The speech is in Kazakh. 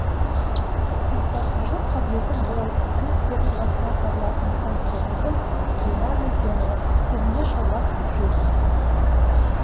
ұйымдастырушылық қабілеті мол игі істердің басынан табылатын комсоргіміз гүлнәр нүркенова көбіне шалбар киіп жүретін